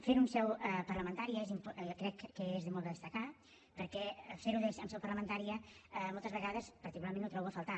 fer ho en seu parlamentària crec que és molt de destacar perquè fer ho en seu parlamentària moltes vegades particularment ho trobo a faltar